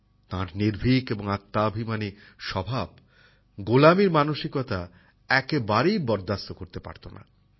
তার নির্ভীক ও আত্মাভিমানী স্বভাব দাসত্বের মানসিকতা একেবারেই বরদাস্ত করতে পারত না